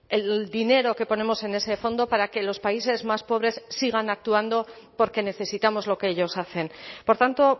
el dinero que ponemos en ese fondo para que los países más pobres sigan actuando porque necesitamos lo que ellos hacen por tanto